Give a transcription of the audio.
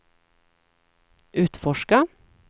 utforska